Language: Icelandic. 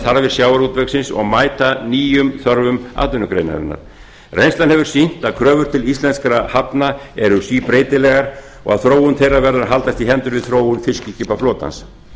þarfir sjávarútvegsins og mæta nýjum þörfum atvinnugreinarinnar reynslan hefur sýnt að kröfur til íslenskra hafna eru síbreytilegar og að þróun þeirra verður að haldast í hendur við þróun fiskiskipaflotans